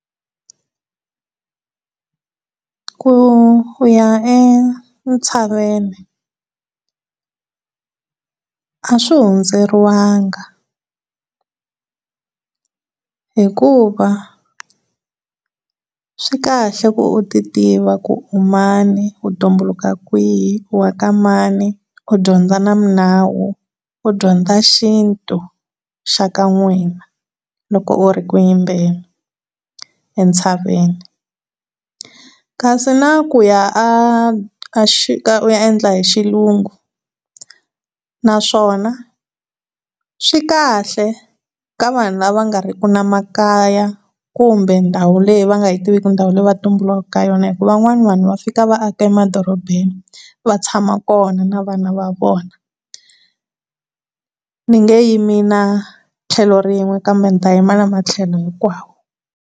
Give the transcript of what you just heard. Ku ku ya entshaveni leswi a swi hundzeriwanga hikuva swi kahle u ti tiva ku tani wu tumbuluka kwihi, u waka mani, u dyondza na minawu, u dyondza xintu xa ka n'wina loko u ri ku yimbeni entshaveni kasi na kuya a, u ya endla hi xilungu naswona swikahle ka vanhu lava nga ri ki na makaya kumbe ndhawu leyi va nga yi tiviki hi ku ndhawu laha va tumbulukaka ka yona hi ku va n'wana va fika va aka emadorobeni va tshama kona na vana va vona ni nge yimi na tlhelo rin'we kambe dzi yima na matlhelo hikwawo.